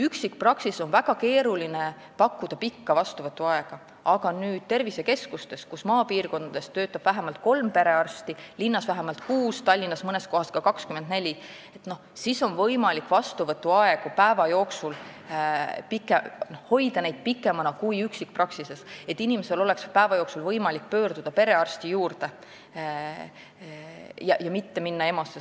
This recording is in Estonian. Üksikpraksises on väga keeruline pakkuda pikka vastuvõtuaega, aga tervisekeskuses töötab maapiirkonnas vähemalt kolm perearsti, linnas vähemalt kuus, Tallinnas mõnes kohas ka 24, seal on võimalikud pikemad vastuvõtuajad kui üksikpraksises, et inimesel oleks päeva jooksul võimalik pöörduda perearsti poole ja tal poleks vaja minna EMO-sse.